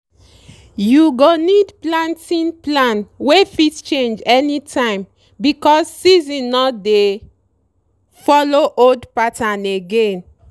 you go need planting plan wey fit change anytime because season no dey follow old pattern again.